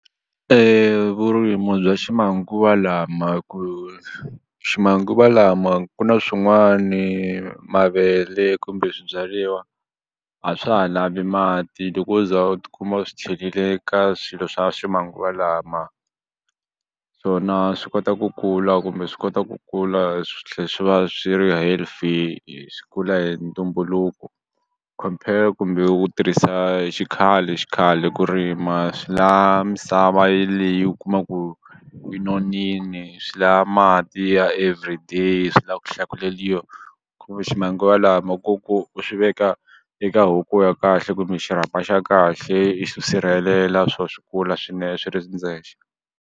vurimi bya ximanguva lama ku ximanguva lama ku na swin'wani mavele kumbe a swa ha lavi mati loko u za u tikuma u swi chelile ka swilo swa ximanguva lama swona swi kota ku kula kumbe swi kota ku kula swi tlhe swi va swi ri healthy swi kula hi ntumbuluko compare kumbe u tirhisa xikhale xikhale ku rima swi la misava yeleyo u kuma ku yi nonini swi la mati ya everyday swi la ku hlakuleliwa ku ve ximanguva lama ko ku u swi veka eka ya kahle kumbe xirhapa xa kahle i swi sirhelela swo swi kula swi ri swi ndzexe.